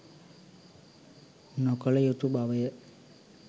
නොකළ යුතු බවය.